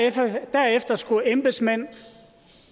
derefter skulle embedsmænd